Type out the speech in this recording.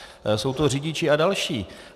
Jsou to řidiči a další.